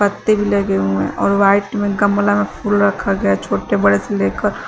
पत्ती भी लगे हुए हैं और वाइट में गमला में फूल रखा गया छोटे बड़े से लेकर--